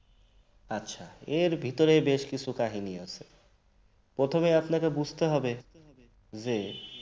এর ভেতরে বেশ কিছু কাহিনী আছে প্রথমে আপনাকে বুঝতে হবে যে